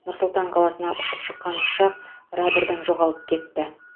нұр сұлтан қаласына ұшып шыққан ұшақ радрдан жоғалып кетті